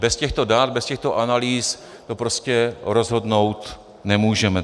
Bez těchto dat, bez těchto analýz to prostě rozhodnout nemůžeme.